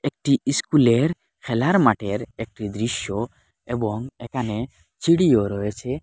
একটি ইস্কুলের খেলার মাঠের একটি দৃশ্য এবং এখানে চিরিও রয়েছে।